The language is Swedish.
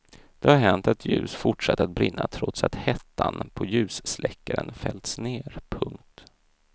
Det har hänt att ljus fortsatt att brinna trots att hättan på ljussläckaren fällts ner. punkt